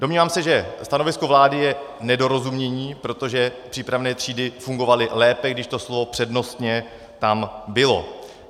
Domnívám se, že stanovisko vlády je nedorozumění, protože přípravné třídy fungovaly lépe, když to slovo přednostně tam bylo.